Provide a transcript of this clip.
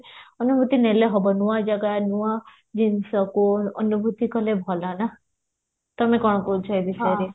ଅନୁଭୂତି ନେଲେ ହବ ନୂଆ ଜାଗା ନୂଆ ଜିନିଷକୁ ଅନୁଭୂତି କଲେ ଭଲ ନାଁ ତମେ କଣ କହୁଚ ଏ ବିଷୟରେ